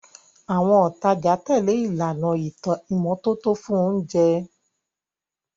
Àwọn òtajà tẹ̀lé ìlànà ìmọ́tótó fún oúnjẹ.